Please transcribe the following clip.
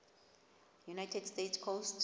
united states coast